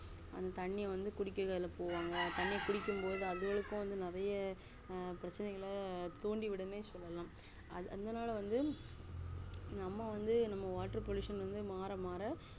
அந்த தண்ணிய வந்து குடிக்க அதுல போவாங்க அந்த தண்ணிய குடிக்கும் பொது நெறைய பிரச்ச்னைகள தூண்டிவிடும்னே சொல்லலாம் அதுனால வந்து நம்ம வந்து water pollution மாற மாற